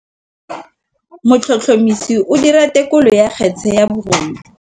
Motlhotlhomisi o dira têkolô ya kgetse ya bogodu.